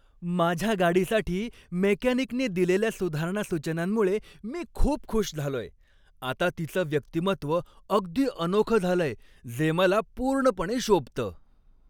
माझ्या गाडीसाठी मेकॅनिकने दिलेल्या सुधारणा सूचनांमुळे मी खूप खुश झालोय. आता तिचं व्यक्तिमत्व अगदी अनोखं झालंय जे मला पूर्णपणे शोभतं.